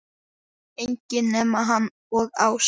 Enginn nema hann og Ása.